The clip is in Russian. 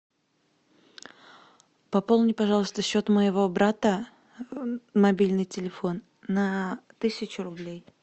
пополни пожалуйста счет моего брата мобильный телефон на тысячу рублей